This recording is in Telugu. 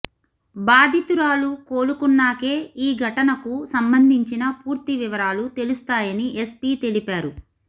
బాధితురాలు కోలుకున్నాకే ఈ ఘటనకు సంబంధించిన పూర్తి వివరాలు తెలుస్తాయని ఎస్పీ తెలిపారు